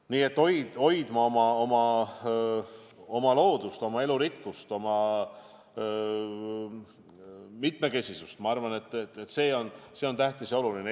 Nii et me peame hoidma oma loodust, oma elurikkust, oma mitmekesisust – ma arvan, et see on tähtis, oluline.